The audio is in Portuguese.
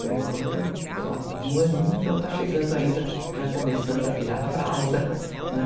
Por enquanto, só de um aninho, então tá chegando ainda, já começando a tirar a fralda, né?